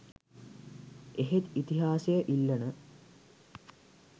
එහෙත් ඉතිහාසය ඉල්ලන